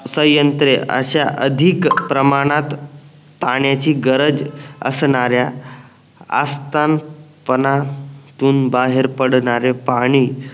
सयंत्रे अश्या अधिक प्रमाणात पाण्याची गरज असणाऱ्या आस्तनपानातून बाहेर पडणारे पाणी